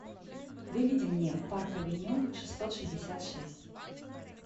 выведи мне парк авеню шестьсот шестьдесят шесть